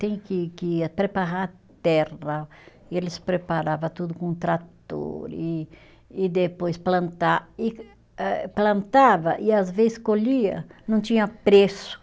Tem que que preparar a terra, e eles preparava tudo com trator, e e depois plantar e eh plantava, e às vezes colhia, não tinha preço.